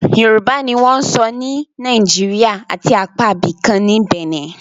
Yorùbá ni wọ́n ń sọ ní Naijiria àti apá ibìkan ní Bẹ̀nẹ̀